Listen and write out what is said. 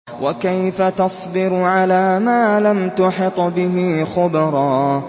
وَكَيْفَ تَصْبِرُ عَلَىٰ مَا لَمْ تُحِطْ بِهِ خُبْرًا